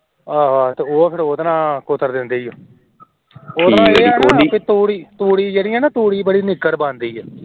ਆਹੋ ਫੇਰ ਓਦੇ ਨਾਲ ਕੁਤਰ ਦੇਂਦੇ ਏ ਉਹਦੇ ਨਾਲ ਇਹ ਹੈ ਤੂੜੀ ਤੂੜੀ ਬੜੀ ਨਿਗਰ ਬਣਦੀ ਏ